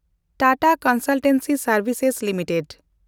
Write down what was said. Tata Consultancy ᱥᱮᱱᱰᱵᱷᱤᱥᱮᱥ limited